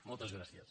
moltes gràcies